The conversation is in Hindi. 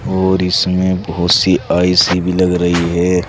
और इसमें बहोत सी आई_सी भी लग रही है।